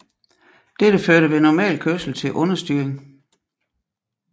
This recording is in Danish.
Dette førte ved normal kørsel til understyring